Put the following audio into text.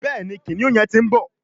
Béèni kìnìún yén tí ń bó.